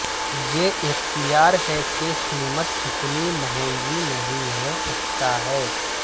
یہ اختیار ہے کہ قیمت اتنی مہنگی نہیں ہے اچھا ہے